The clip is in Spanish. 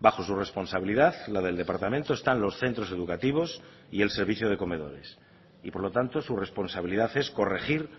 bajo su responsabilidad la del departamento están los centros educativos y el servicio de comedores y por lo tanto su responsabilidad es corregir